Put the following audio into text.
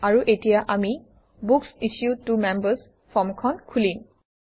আৰু এতিয়া আমি বুক্স ইছ্যুড ত মেম্বাৰ্ছ ফৰ্মখন খুলিম